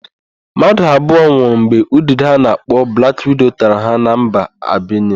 Mmadụ abụo nwụrụ mgbe udide a na-akpọ blak wido tara ha na mba Albenia.